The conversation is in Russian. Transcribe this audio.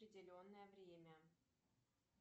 определенное время